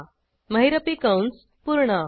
महिरपी कंस पूर्ण